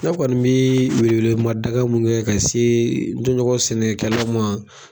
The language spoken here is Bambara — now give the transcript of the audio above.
Ne kɔni bii welewelema daga min kɛ ka see n tɔɲɔgɔn sɛnɛkɛlaw ma